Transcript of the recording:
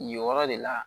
Nin yɔrɔ de la